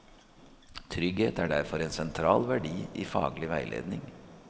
Trygghet er derfor en sentral verdi i faglig veiledning.